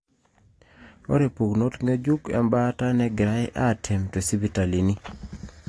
ore pukunot ngejuko embaata negirae atem tosipitalini.